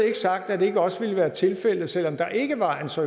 ikke sagt at det ikke også ville være tilfældet selv om der ikke var en så